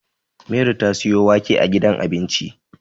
Mary ta siyo wake a gidan abinci